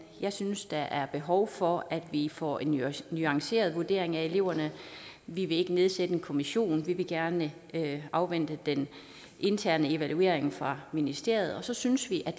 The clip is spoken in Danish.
jeg synes der er behov for at vi får en nuanceret vurdering af eleverne vi vil ikke nedsætte en kommission vi vil gerne afvente den interne evaluering fra ministeriet og så synes vi